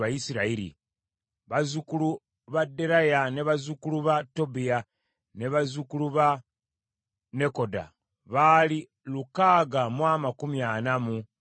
bazzukulu ba Deraya, bazzukulu ba Tobiya, ne bazzukulu ba Nekoda baali lukaaga mu amakumi ana mu babiri (642).